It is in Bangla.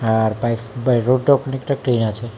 আর বাইস বাই রোডটাও খানিকটা ক্লিন আছে।